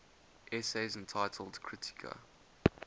essays entitled kritika